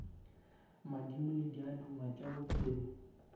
madimo le diaduma tša bophelo